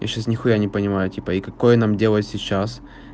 я сейчас нихуя не понимаю типа и какое нам дело сейчас